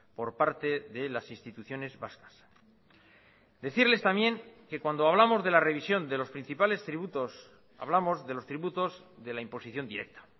por parte de las instituciones vascas decirles también que cuando hablamos de la revisión de los principales tributos hablamos de los tributos de la imposición directa